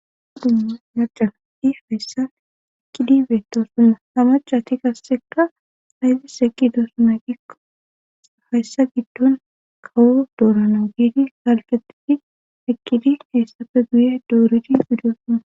Aa dumma macaadhi heyssan ekkidi beettosuma hamacati kassekka hayzi seqqi doosumay qikko hayssa giddon kawo dooranawu giidi halqetifi ekkidi heyssafe guye dooridi bidosuma